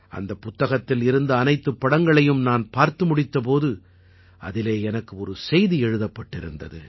அந்தப் புத்தகத்தில் இருந்த அனைத்துப் படங்களையும் நான் பார்த்து முடித்த போது அதிலே எனக்கு ஒரு செய்தி எழுதப்பட்டிருந்தது